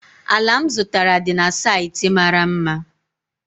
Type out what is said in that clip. ala m zụtara dị na saịtị mara mma